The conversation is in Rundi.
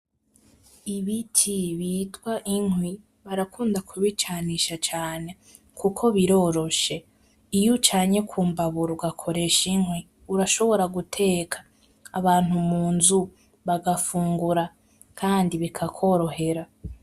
Ibiti bitwa inkwi .Barakunda kubicanisha cane kuko biroroshe iyo ucanye kumbabura ugakoresha inkwi urashobora guteka .Abantu munzu bagafungura Kandi bikakworohera.